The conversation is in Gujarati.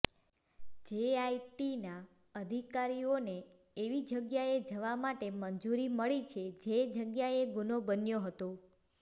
જેઆઈટીના અધિકારીઓને એવી જગ્યાએ જવા માટે મંજુરી મળી છે જે જગ્યાએ ગુનો બન્યો હતો